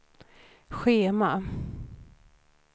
schema